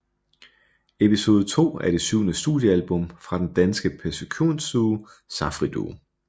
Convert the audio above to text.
Episode II er det syvende studiealbum fra den danske percussionduo Safri Duo